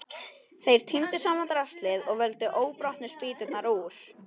Þeir tíndu saman draslið og völdu óbrotnu spýturnar úr.